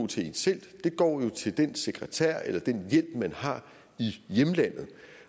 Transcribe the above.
til en selv det går til den sekretær eller den hjælp man har i hjemlandet